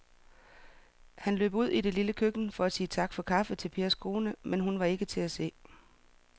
Han løb ud i det lille køkken for at sige tak for kaffe til Pers kone, men hun var ikke til at se.